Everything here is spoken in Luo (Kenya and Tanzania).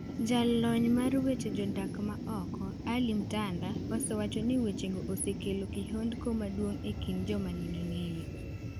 Jalony mar weche jodak ma oko, Ally Mtanda osewacho ni wechego osekelo kihondko maduong' e kind joma nigi ng'eyo.